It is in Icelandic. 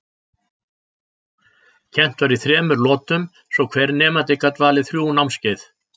Kennt var í þremur lotum svo hver nemandi gat valið þrjú námskeið.